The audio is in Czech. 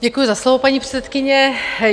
Děkuji za slovo, paní předsedkyně.